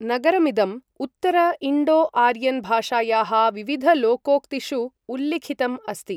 नगरमिदम् उत्तर Indo Aryan भाषायाः विविधलोकोक्तिषु उल्लिखितम् अस्ति।